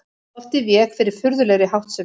Stoltið vék fyrir furðulegri háttsemi.